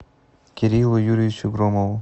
кириллу юрьевичу громову